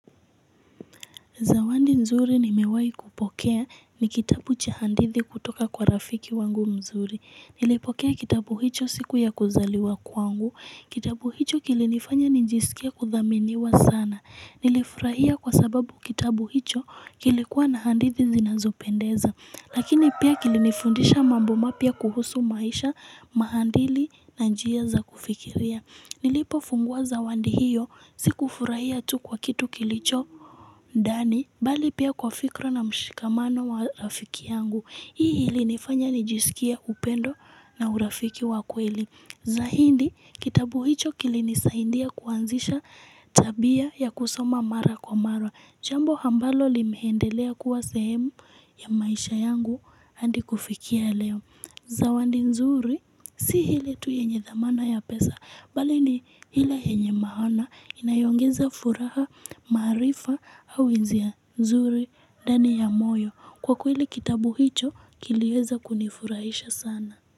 Zawadi nzuri nimewahi kupokea ni kitabu cha hadithi kutoka kwa rafiki wangu mzuri. Nilipokea kitabu hicho siku ya kuzaliwa kwangu. Kitabu hicho kilinifanya nijisikia kuthaminiwa sana. Nilifurahia kwa sababu kitabu hicho kilikuwa na hadithi zinazopendeza. Lakini pia kilinifundisha mambo mapya kuhusu maisha, maadili na njia za kufikiria. Nilipofunguwa zawadi hiyo, sikufurahia tu kwa kitu kilicho ndani, bali pia kwa fikra na mshikamano wa rafiki yangu. Hii ilinifanya nijisikie upendo na urafiki wa kweli. Zaidi kitabu hicho kilinisaindia kuanzisha tabia ya kusoma mara kwa mara. Jambo ambalo limeendelea kuwa sehemu ya maisha yangu hadi kufikia leo Zawadi nzuri si ile tu yenye dhamana ya pesa bali ni ile yenye maana inayoongeza furaha, maarifa au hisia zuri ndani ya moyo. Kwa kweli kitabu hicho kilieza kunifurahisha sana.